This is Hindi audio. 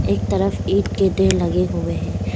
एक तरफ ईंट के ढेर लगे हुए हैं।